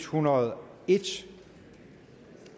hundrede og